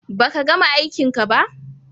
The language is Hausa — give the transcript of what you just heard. Baka gama aikinka ba?